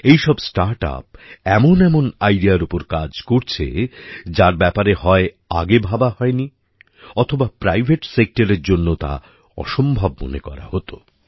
এইসব স্টার্টআপ এমন এমন আইডিয়ার ওপর কাজ করছে যার ব্যাপারে হয় আগে ভাবা হয়নি অথবা প্রাইভেট সেক্টরের জন্য তা অসম্ভব মনে করা হত